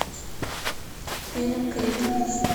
фильм крик